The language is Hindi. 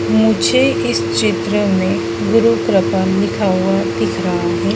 मुझे इस चित्र में मुझे गुरुकृपा लिखा हुआ दिख रहा है।